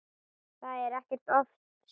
Það er ekkert of seint.